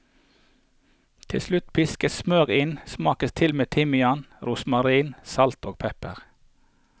Til slutt piskes smør inn, smakes til med timian, rosmarin, salt og pepper.